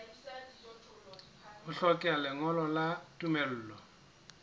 ho hlokeha lengolo la tumello